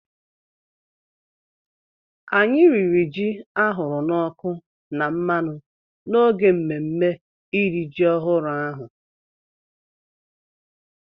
Anyị riri ji ahụrụ n’ọkụ na mmanụ n’oge mmemme iri ji ọhụrụ ahụ.